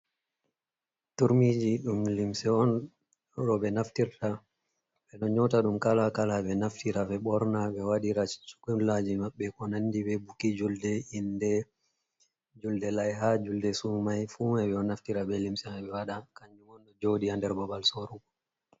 Turmiji ɗum limse on roɓe naftirta. Ɓeɗo nyoota ɗum kala-kala ɓe naftira ɓe ɓorna, ɓe waɗira shungullaji maɓɓe ko nandi be buki julde, inde, julde laiha, julde sumai fuu mai ɓeɗo naftira be limse ɓe waɗa kanyum on ɗo joɗi haa nder babal sorugo.